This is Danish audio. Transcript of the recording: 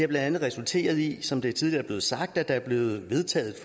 blandt andet resulteret i som det tidligere er blevet sagt at der er blevet vedtaget